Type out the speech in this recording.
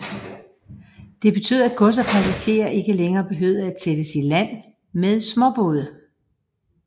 Det betød at gods og passagerer ikke længere behøvede at sættes i land med småbåde